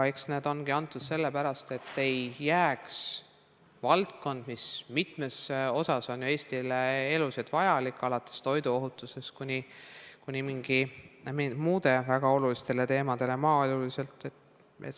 Eks need ongi antud sellepärast, et valdkond, mis mitmes osas on ju Eestile eluliselt vajalik – alates toiduohutusest kuni muude väga oluliste, sh maaeluliste teemadeni –, ei jääks seisma.